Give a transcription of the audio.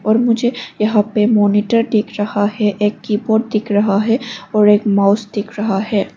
और मुझे यहाँ पे मॉनिटर दिख रहा है और एक की बोर्ड दिख रहा है और एक माउस दिख रहा है।